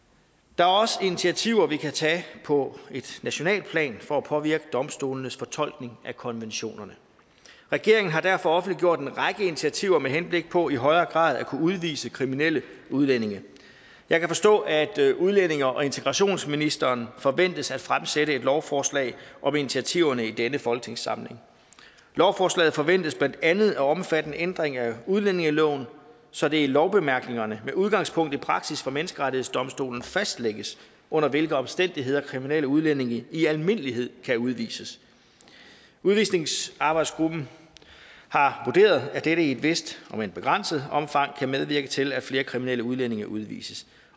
der er også initiativer vi kan tage på et nationalt plan for at påvirke domstolenes fortolkning af konventionerne regeringen har derfor offentliggjort en række initiativer med henblik på i højere grad at kunne udvise kriminelle udlændinge jeg forstår at udlændinge og integrationsministeren forventes at fremsætte et lovforslag om initiativerne i denne folketingssamling lovforslaget forventes blandt andet at omfatte en ændring af udlændingeloven så det i lovbemærkningerne med udgangspunkt i praksis fra menneskerettighedsdomstolen fastlægges under hvilke omstændigheder kriminelle udlændinge i almindelighed kan udvises udvisningsarbejdsgruppen har vurderet at dette i et vist om end begrænset omfang kan medvirke til at flere kriminelle udlændinge udvises